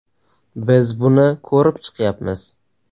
Biz buni ko‘rib chiqyapmiz.